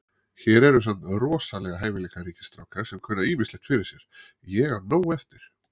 Hér eru samt rosalega hæfileikaríkir strákar sem kunna ýmislegt fyrir sér. Ég á nóg eftir.